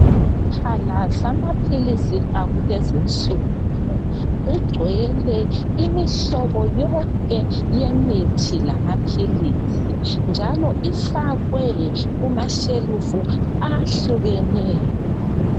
Isiphala lamaphilisi akulezinsuku kugcwele imihlobo yonke yemithi la maphilisi njalo ifakwe kumashelufu ahlukeneyo.